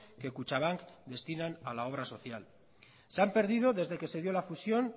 que kutxabank destinan a la obra social se ha perdido desde que se dio la fusión